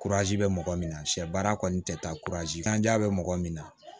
bɛ mɔgɔ min na sɛ baara kɔni tɛ taa kanja bɛ mɔgɔ min na